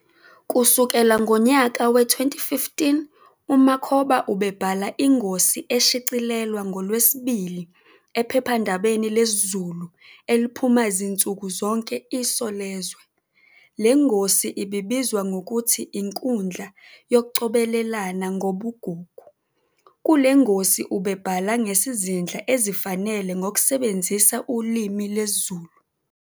Kusukela ngonyaka we-2015 uMakhoba ubebhala ingosi eshicilelwa ngoLwesibili ephephandabeni lesiZulu eliphuma zinsuku zonke "Isolezwe". Lengosi ibizwa ngokuthi "Inkudla yokucobelelana Ngobugugu" kulengosi ubebhala ngsizindlela ezifanele zokusebezisa ulimi lwesiZulu.